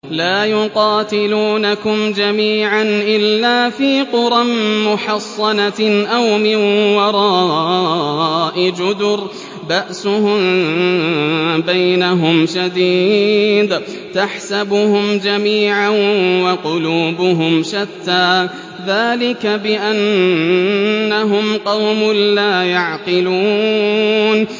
لَا يُقَاتِلُونَكُمْ جَمِيعًا إِلَّا فِي قُرًى مُّحَصَّنَةٍ أَوْ مِن وَرَاءِ جُدُرٍ ۚ بَأْسُهُم بَيْنَهُمْ شَدِيدٌ ۚ تَحْسَبُهُمْ جَمِيعًا وَقُلُوبُهُمْ شَتَّىٰ ۚ ذَٰلِكَ بِأَنَّهُمْ قَوْمٌ لَّا يَعْقِلُونَ